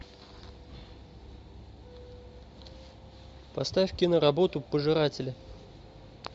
поставь киноработу пожиратели